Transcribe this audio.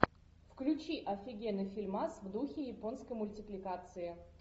включи офигенный фильмас в духе японской мультипликации